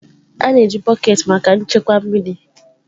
A na-eji bọket maka nchekwa mmiri.